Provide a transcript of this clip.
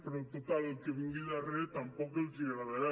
però total el que vingui al darrere tampoc els agradarà